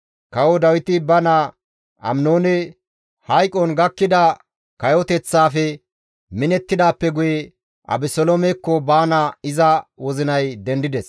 Kawo Dawiti ba naa Aminoone hayqon gakkida kayoteththaafe minettidaappe guye Abeseloomekko baana iza wozinay dendides.